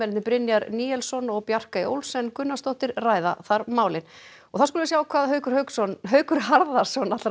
Brynjar Níelsson og Bjarkey Olsen Gunnarsdóttir ræða málin og þá skulum við sjá hvað Haukur Harðarson Haukur Harðarson